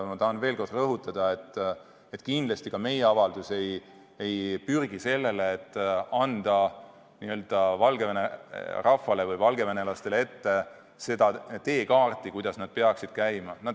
Ma tahan veel kord rõhutada, et kindlasti ka meie avaldus ei pürgi sinnapoole, et anda Valgevene rahvale ehk valgevenelastele ette teekaarti, mis näitaks, kuidas nad peaksid käima.